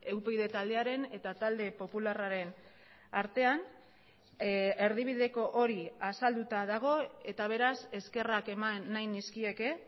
upyd taldearen eta talde popularraren artean erdibideko hori azalduta dago eta beraz eskerrak eman nahi nizkieke